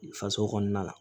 Faso kɔnɔna la